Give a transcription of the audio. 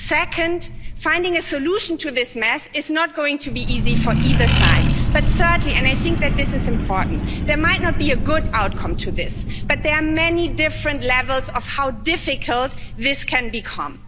Second, finding a solution to this mess is not going to be easy for either side, but thirdly, and I think this is important, there might not be a good outcome to this, but there are many different levels of how difficult this can become.